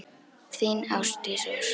Þín, Ásdís Ósk.